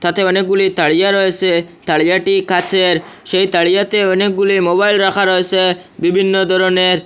তাতে অনেকগুলি তাড়িয়া রয়েসে তাড়িয়াটি কাঁচের সেই তাড়িয়াতে অনেকগুলি মোবাইল রাখা রয়েসে বিভিন্ন ধরনের।